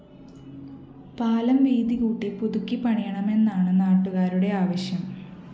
പാലം വീതി കൂട്ടി പുതുക്കി പണിയണമെന്നാണ് നാട്ടുകാരുടെ ആവശ്യം